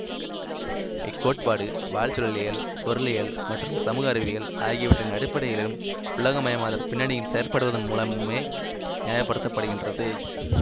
இக் கோட்பாடு வாழ்சூழலியல் பொருளியல் மற்றும் சமூக அறிவியல் ஆகியவற்றின் அடிப்படையிலும் உலகமயமாதற் பின்னணியில் செயற்படுவதன் மூலமுமே நியாயப் படுத்தப்படுகின்றது